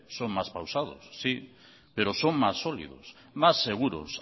son más pausados sí pero son más sólidos más seguros